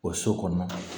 O so kɔnɔ